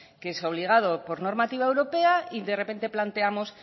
que es obligado por normativa europea y de repente planteamos